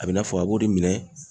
A bɛ i n'a fɔ a b'o de minɛ